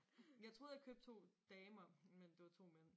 Jeg troede jeg købte to damer men det var to mænd